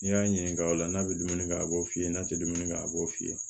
N'i y'a ɲininka o la n'a be dumuni kɛ a b'o f'i ye n'a te dumuni kɛ a b'o f'i ye